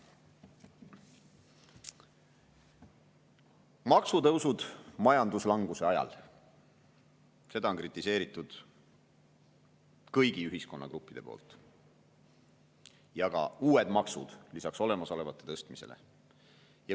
maksutõusud majanduslanguse ajal – seda on kritiseerinud kõik ühiskonnagrupid – ja ka uued maksud lisaks olemasolevate tõstmisele.